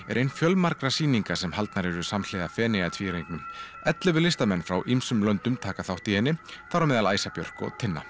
er ein fjölmargra sýninga sem haldnar eru samhliða Feneyjatvíæringnum ellefu listamenn frá ýmsum löndum taka þátt í henni þar á meðal Æsa Björk og Tinna